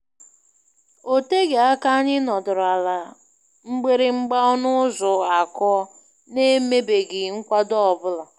O teghị aka anyị nọdụrụ ala mgbịrị mgba ọnụ ụzọ akụọ, n'emebeghị nkwado ọ bụla.